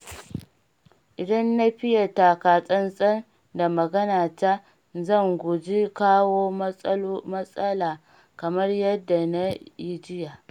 Idan na fiye takatsantsan da maganata, zan guji jawo matsala kamar yadda na yi jiya.